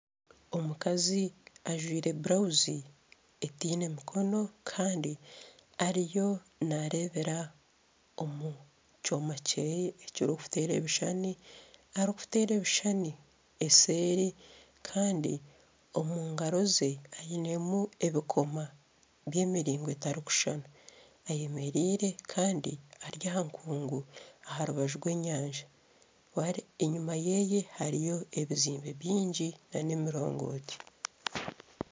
Omukazi ajwire burawuzi etaine mikono kandi ariyo naareebera omu kyoma kye ekirikuteera ebishushani arikuteera ebishishani eseeri kandi omu ngaaro ze ayinemu ebikomo by'emiringo etarikushushana ayemereire kandi ari aha nkungu aha rubaju rw'enyanja, enyima ye hariyo ebizimbe bingi n'emirongoti